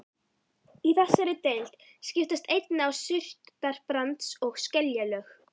Í þessari deild skiptast einnig á surtarbrands- og skeljalög.